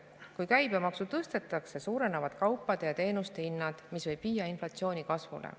Kui käibemaksu tõstetakse, kaupade ja teenuste hinnad, mis võib viia inflatsiooni kasvule.